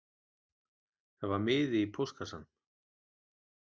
Það var miði í póstkassanum